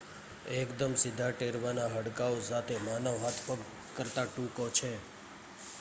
એકદમ સીધા ટેરવાના હાડકાઓ સાથે માનવ હાથ પગ કરતા ટૂંકો છે